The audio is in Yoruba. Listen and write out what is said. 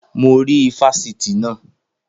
Mo rí ifásitì naa